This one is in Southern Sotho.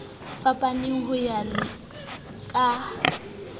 fapaneng le ho ya ka